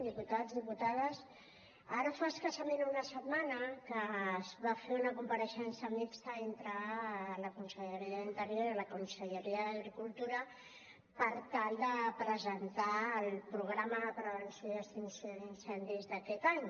diputats diputades ara fa escassament una setmana que es va fer una compareixença mixta entre la conselleria d’interior i la conselleria d’agricultura per tal de presentar el programa de prevenció i extinció d’incendis d’aquest any